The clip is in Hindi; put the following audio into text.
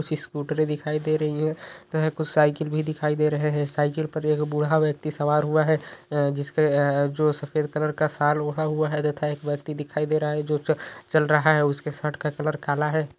कुछ स्कूटर दिखाई दे रही है तथा कुछ साइकल भी दिखाई दे रहे हैं। साइकल पर एक बूढ़ा यक्ति सवार हुआ है जिसका जो सफेद कलर का शाल ओढ़ा हुआ है तथा एक व्यक्ति दिखाई दे रहा है जो चल रहा है उसकी शर्ट का कलर काला है।